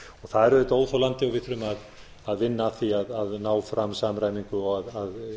það er auðvitað óþolandi við þurfum að vinna að því að ná fram samræmingu og að